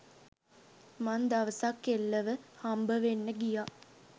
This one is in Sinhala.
මං දවසක් කෙල්ලව හම්බවෙන්න ගියා.